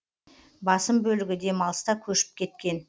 басым бөлігі демалыста көшіп кеткен